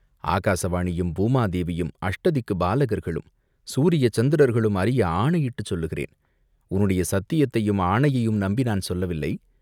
"ஆகாச வாணியும், பூமாதேவியும், அஷ்ட திக்குப் பாலகர்களும், சூரிய சந்திரர்களும் அறிய ஆணையிட்டுச் சொல்லுகிறேன்." "உன்னுடைய சத்தியத்தையும் ஆணையையும் நம்பி நான் சொல்லவில்லை.